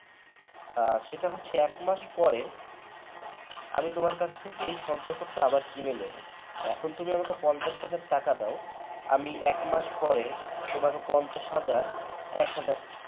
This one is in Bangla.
আর সেটা হচ্ছে এক মাস পরে । আমি তোমার কাছ থেকে সঞ্চয়পত্র আবার কিনে নেব এখন তুমি আমাকে পঞ্চাশ হাজার টাকা দাও আমি একমাস পরে তোমাকে পঞ্চাশ হাজার এক হাজার